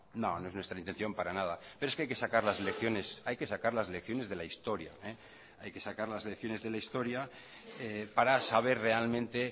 no es nuestra intención para nada pero es que hay que sacar las lecciones de la historia para saber realmente